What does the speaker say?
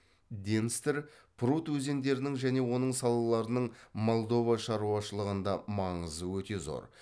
денстр прут өзендерінің және оның салаларының молдова шаруашылығында маңызы өте зор